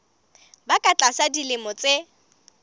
ba ka tlasa dilemo tse